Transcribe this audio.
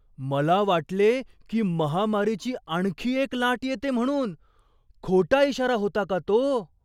मला वाटले की महामारीची आणखी एक लाट येते म्हणून. खोटा इशारा होता का तो?